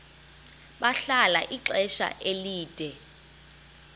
bahlala ixesha elide